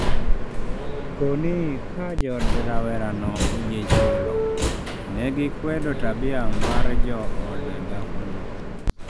Koni ka jood rawera no oyie chulo, negi kwedo tabia mar jood dhako no